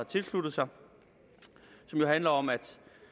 tilsluttet sig og som jo handler om at